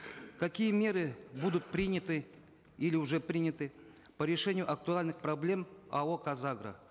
какие меры будут приняты или уже приняты по решению актуальных проблем ао казагро